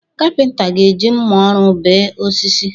Kapịnta ga-eji mma ọrụ bee osisi.